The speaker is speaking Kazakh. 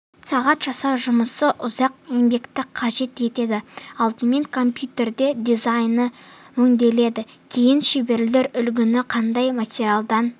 сағат жасау жұмысы ұзақ еңбекті қажет етеді алдымен комьютерде дизайны өңделеді кейін шеберлер үлгінің қандай материалдан